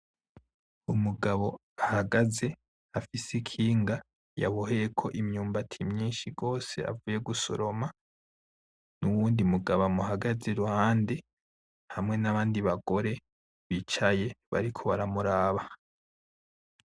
Umugabo ahagaze afise ikinga yaboheyeko imyumbati myinshi gose avuye gusoroma, n'uwundi mugabo amuhagaze iruhande, hamwe n'abandi bagore bicaye bariko baramuraba.